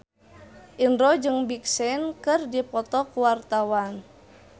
Indro jeung Big Sean keur dipoto ku wartawan